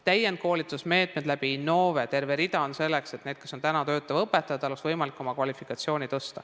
Täienduskoolitusmeetmeid Innove kaudu on terve rida, selleks et töötaval õpetajal oleks võimalik oma kvalifikatsiooni tõsta.